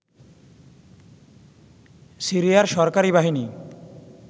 সিরিয়ার সরকারী বাহিনী